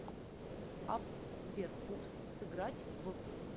апп сбер пупс сыграть в